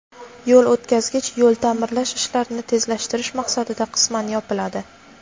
yo‘l o‘tkazgich yo‘l ta’mirlash ishlarini tezlashtirish maqsadida qisman yopiladi.